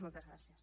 moltes gràcies